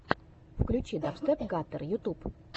включи дабстеп гаттер ютюб